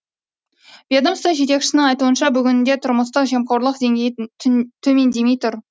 ведомство жетекшісінің айтуынша бүгінде тұрмыстық жемқорлық деңгейі төмендемей тұр